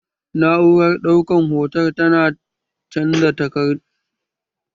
Na'urar ɗaukar hotan takardu tana canza daftarin aiki zuwa fayil na dijital